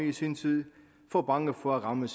i sin tid for bange for at ramme